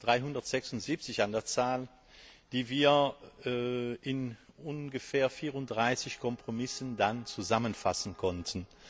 376 an der Zahl die wir in ungefähr 34 Kompromissen zusammenfassen konnten.